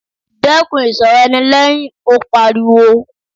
Dẹ́kun ìsọ̀rọ̀ ẹni lẹ́hìn! Ó pariwo.